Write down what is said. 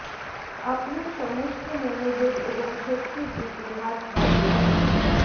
আপনার সমস্ত মনোযোগ এবং শক্তির দিকে হাত বাড়িয়ে দাও